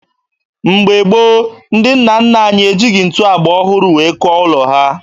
Mgbe gboo, ndị nna nna anyị ejighi ntu agba ọhụrụ wee kụọ ụlọ ha